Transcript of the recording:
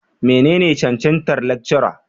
menene cancantar Lecturer?